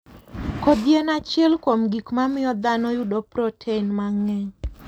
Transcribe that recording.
Kodhi en achiel kuom gik mamiyo dhano yudo protein mang'eny.